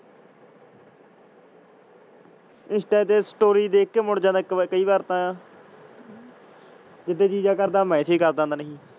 Insta ਤੇ story ਦੇਖਕੇ ਮੁੜ ਜਾਂਦਾ ਕਈ ਵਾਰ ਤਾ ਜੀਦੇ ਜੀ ਜਾ ਕਰਦਾ ਮੈਸਜ ਕਰ ਦਿੰਦਾ ਨੀ